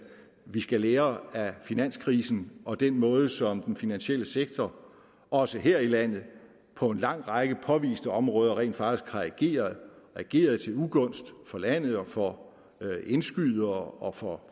vi skal lære af finanskrisen og den måde som den finansielle sektor også her i landet på en lang række påviste områder rent faktisk reagerede reagerede til ugunst for landet og for indskydere og for